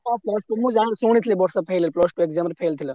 ହଁ ମୁଁ ଜାଣିଛି ଶୁଣିଥିଲି ବର୍ଷା plus two exam ରେ fail ଥିଲା।